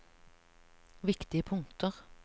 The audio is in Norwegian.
viktige punkter